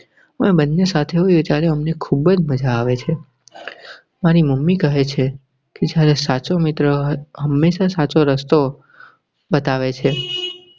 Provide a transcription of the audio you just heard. અમે બન્ને સાથે હોય ત્યારે અમને ખુબ જ મજા આવે છે. મારી mummy કહે છે કે જ્યારે સાચો મિત્ર હમેશા સાચો રસ્તો બતાવે છે.